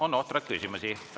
On ohtralt küsimusi.